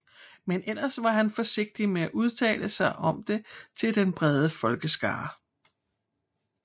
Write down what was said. Men ellers var han forsigtig med at udtale sig om det til den brede folkeskare